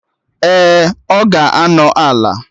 Ee, ọ ga-anọ Ala